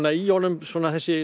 í honum þessi